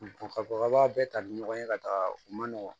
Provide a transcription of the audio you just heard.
ka fɔ k'a b'a bɛɛ ta ni ɲɔgɔn ye ka taga u ma nɔgɔn